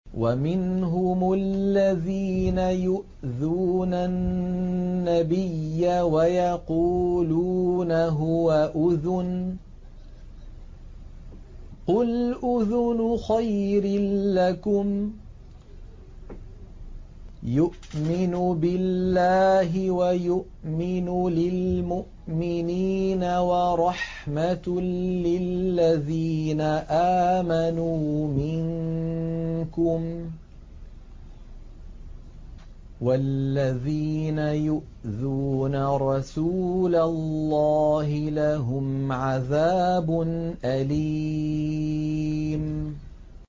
وَمِنْهُمُ الَّذِينَ يُؤْذُونَ النَّبِيَّ وَيَقُولُونَ هُوَ أُذُنٌ ۚ قُلْ أُذُنُ خَيْرٍ لَّكُمْ يُؤْمِنُ بِاللَّهِ وَيُؤْمِنُ لِلْمُؤْمِنِينَ وَرَحْمَةٌ لِّلَّذِينَ آمَنُوا مِنكُمْ ۚ وَالَّذِينَ يُؤْذُونَ رَسُولَ اللَّهِ لَهُمْ عَذَابٌ أَلِيمٌ